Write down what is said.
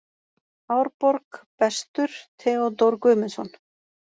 Árborg: Bestur: Theodór Guðmundsson.